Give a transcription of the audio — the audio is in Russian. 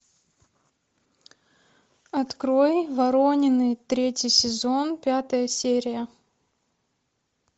открой воронины третий сезон пятая серия